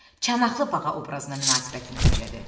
Çanaqlı bağa obrazına münasibətin necədir?